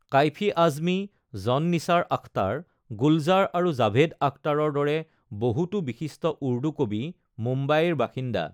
কাঈফি আজমী, জন নিছাৰ আখটাৰ, গুলজাৰ আৰু জাভেদ আখটাৰৰ দৰে বহুতো বিশিষ্ট উৰ্দু কবি মুম্বাইৰ বাসিন্দা।